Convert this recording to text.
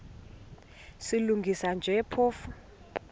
silungisa nje phofu